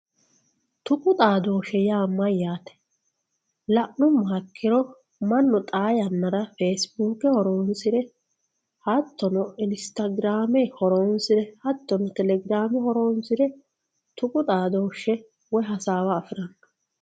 tuqu xaadooshshe yaa mayyate la'mmoha ikkiro mannu xaa yannara feesibuuke horonsire hattono inistagiraame horonsire hattono telegirame horonsire tuqu xaadooshshe woyi hasaawa afiranno.